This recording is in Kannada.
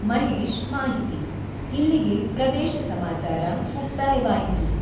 ಮಹೇಶ್ ಮಾಹಿತಿ, ಇಲ್ಲಿಗೆ ಪ್ರದೇಶ ಸಮಾಚಾರ ಮುಕ್ತಾಯವಾಯಿತು.